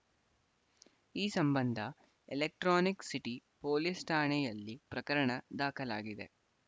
ಈ ಸಂಬಂಧ ಎಲೆಕ್ಟ್ರಾನಿಕ್‌ ಸಿಟಿ ಪೊಲೀಸ್‌ ಠಾಣೆಯಲ್ಲಿ ಪ್ರಕರಣ ದಾಖಲಾಗಿದೆ